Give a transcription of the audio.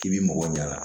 K'i b'i mɔgɔ ɲaga